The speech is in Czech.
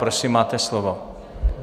Prosím, máte slovo.